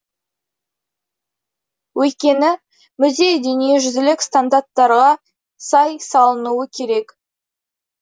өйткені музей дүниежүзілік стандарттарға сай салынуы керек